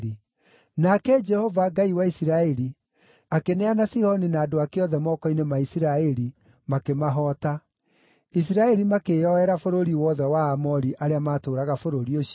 “Nake Jehova, Ngai wa Isiraeli, akĩneana Sihoni na andũ ake othe moko-inĩ ma Isiraeli, makĩmahoota. Isiraeli makĩĩyoera bũrũri wothe wa Aamori arĩa maatũũraga bũrũri ũcio,